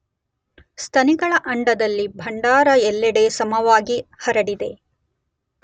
ಸ್ತನಿಗಳ ಅಂಡದಲ್ಲಿ ಭಂಡಾರ ಎಲ್ಲೆಡೆ ಸಮವಾಗಿ ಹರಡಿದೆ.